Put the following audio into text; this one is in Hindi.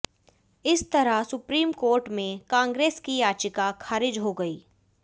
इस तरह सुप्रीम कोर्ट में कांग्रेस की याचिका खारिज हो गयी